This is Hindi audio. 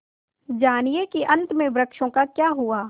जानिए कि अंत में वृक्षों का क्या हुआ